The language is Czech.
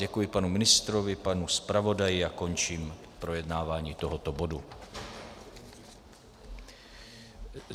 Děkuji panu ministrovi, panu zpravodaji a končím projednávání tohoto bodu.